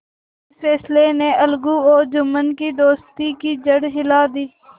इस फैसले ने अलगू और जुम्मन की दोस्ती की जड़ हिला दी